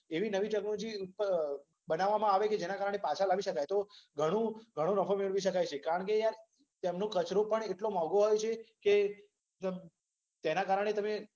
એવી નવી ટેક્નોલોજી બનાવવામાં આવે કે જેના કારણે પાછા લાવી શકાય. તો તો ઘણો નફો મેળવી શકાય. કારણ કે યાર ત્યાનો કચરો પણ એટલો મોંઘો હોય છે કે,